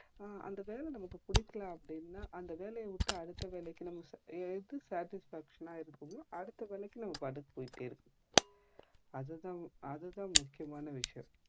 அஹ் அந்த வேல நம்மக்கு புடிக்கல அப்டினா அந்த வேலைய விட்டு அடுத்த வேலைக்கு எது satisfaction ஆ இருக்குதோ அதுக்கு அடுத்த வேலைக்கு நம்ப பாட்டுன்னு போயிட்டே இருக்கணும் அது தான் அது தான் முக்கியமான விஷயம்